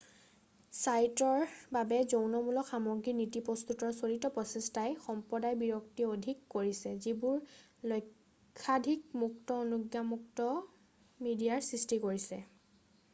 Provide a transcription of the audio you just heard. ছাইটৰ বাবে যৌনমূলক সামগ্ৰীৰ নীতি প্ৰস্তুতৰ চলিত প্ৰচেষ্টাই সম্প্ৰদায় বিৰক্তি অধিক কৰিছে যিবোৰে লক্ষাধিক মুক্ত-অনুজ্ঞাযুক্ত মিডিয়াৰ সৃষ্টি কৰিছে